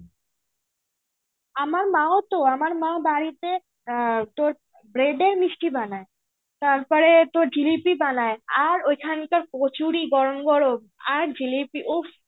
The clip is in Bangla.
আমার মাও তো আমার মা বাড়িতে আ তোর bread এর মিষ্টি বানায়. তারপরে তো জিলিপি বানায়. আর ঐখানকার কচুরি গরম গরম আর জিলিপি উফ্